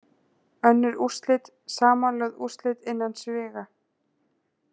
Önnur úrslit, Samanlögð úrslit innan sviga.